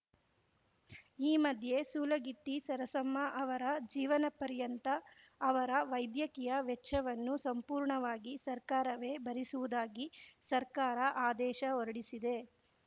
ಈ ಮಧ್ಯೆ ಸೂಲಗಿತ್ತಿ ಸರಸಮ್ಮ ಅವರ ಜೀವನಪರ್ಯಂತ ಅವರ ವೈದ್ಯಕೀಯ ವೆಚ್ಚವನ್ನು ಸಂಪೂರ್ಣವಾಗಿ ಸರ್ಕಾರವೇ ಭರಿಸುವುದಾಗಿ ಸರ್ಕಾರ ಆದೇಶ ಹೊರಡಿಸಿದೆ